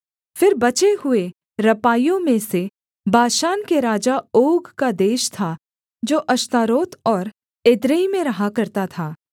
फिर बचे हुए रपाइयों में से बाशान के राजा ओग का देश था जो अश्तारोत और एद्रेई में रहा करता था